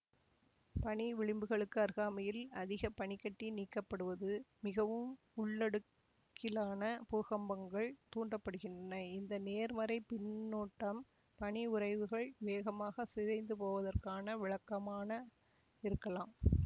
பனி விளிம்புகளுக்கு அருகாமையில் அதிக பனி கட்டி நீக்கப்படுவது மிகவும் உள்ளடுக்கிலான பூகம்பங்கள் தூண்ட படுகின்றன இந்த நேர்மறைப் பின்னூட்டம் பனி உறைவுகள் வேகமாக சிதைந்துபோவதற்கான விளக்கமான இருக்கலாம்